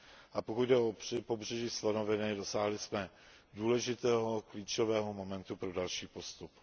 A pokud jde o Pobřeží slonoviny, dosáhli jsme důležitého klíčového momentu pro další postup.